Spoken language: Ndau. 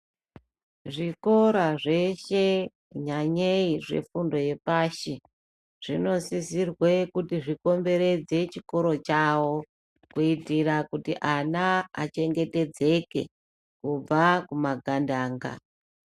Zvikora zveshe nyanyeyi zvefundo yepashi zvinosisirwa kuti zvikomberedze zvikora chavo kuita kuti vana vachengetedzeke kubva kumagandanga.